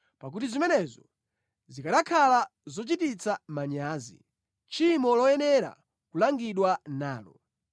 Pakuti zimenezo zikanakhala zochititsa manyazi, tchimo loyenera kulangidwa nalo.